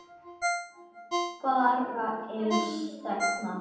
vara ills þegns